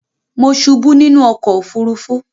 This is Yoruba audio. Mo subú nínú okò òfurufú